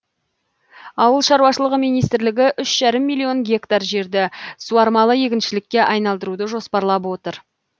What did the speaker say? ауыл шаруашылығы министрлігі үш жарым миллион гектар жерді суармалы егіншілікке айналдыруды жоспарлап отыр